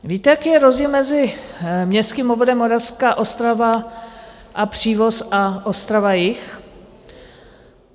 Víte, jaký je rozdíl mezi městským obvodem Moravská Ostrava a Přívoz a Ostrava-Jih?